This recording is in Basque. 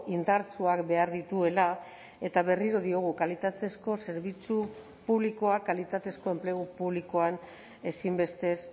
indartsuak behar dituela eta berriro diogu kalitatezko zerbitzu publikoak kalitatezko enplegu publikoan ezinbestez